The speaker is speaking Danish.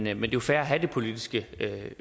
er jo fair at have det politiske